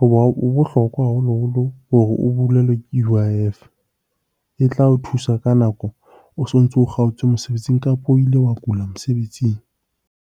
Hoba ho bohlokwa haholoholo hore o hulelwe ke U_I_F, e tla o thusa ka nako o so ntso kgaotswe mosebetsing kapa o ile wa kula mosebetsing.